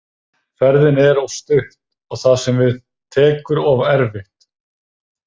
Ferðin er of stutt og það sem við tekur of erfitt.